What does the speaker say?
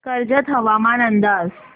कर्जत हवामान अंदाज